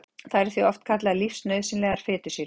Þær eru því oft kallaðar lífsnauðsynlegar fitusýrur.